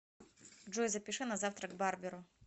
джой запиши на завтра к барберу